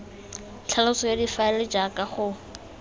tlhaloso ya difaele jaaka go